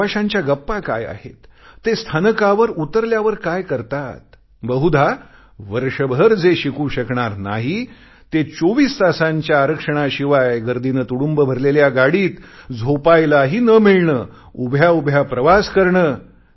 त्या प्रवाशांच्या गप्पा काय आहेत ते स्थानकावर उतरल्यावर काय करतात बहुधा वर्षभर जे शिकू शकणार नाही ते 24 तासांच्या आरक्षणाशिवाय गर्दीने तुडुंब भरलेल्या गाडीत झोपायलाही न मिळणे उभ्याउभ्या प्रवास करणे